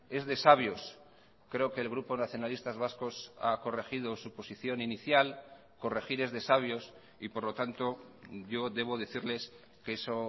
es de sabios creo que el grupo nacionalistas vascos ha corregido su posición inicial corregir es de sabios y por lo tanto yo debo decirles que eso